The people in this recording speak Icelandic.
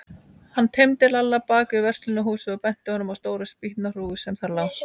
Hann teymdi Lalla bak við verslunarhúsið og benti honum á stóra spýtnahrúgu sem þar lá.